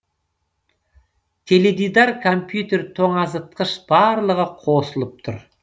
теледидар компьютер тоңазытқыш барлығы қосылып тұр